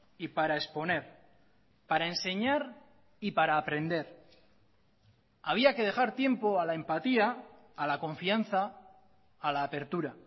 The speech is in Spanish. y para exponer para enseñar y para aprender había que dejar tiempo a la empatía a la confianza a la apertura